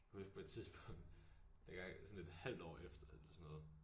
Kan huske på et tidspunkt dengang sådan et halvt år efter eller sådan noget